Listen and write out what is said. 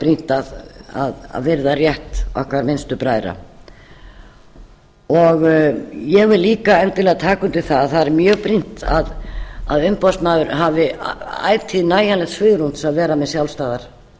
brýnt að virða rétt okkar minnstu bræðra ég vil endilega líka taka undir að það er mjög brýnt að umboðsmaður hafi ætíð nægjanlegt svigrúm til að vera með sjálfstæðar